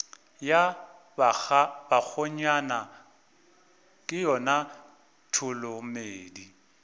ya bakgonyana ke yona tholomedi